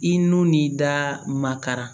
I n'u n'i da ma kara